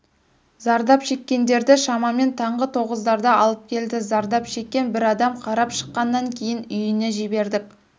зардап шеккендерді шамамен таңғы тоғыздарда алып келді зардап шеккен бір адамды қарап шыққаннан кейін үйіне жібердік